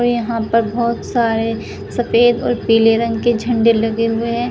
यहां पर बहोत सारे सफेद और पीले रंग के झंडे लगे हुए हैं।